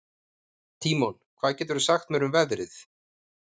Tímon, hvað geturðu sagt mér um veðrið?